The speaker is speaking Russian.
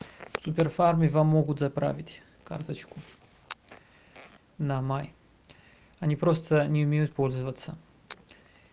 в супер фарме вам могут заправить карточку на май они просто не умеют пользоваться